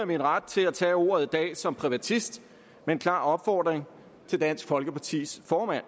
min ret til at tage ordet i dag som privatist med en klar opfordring til dansk folkepartis formand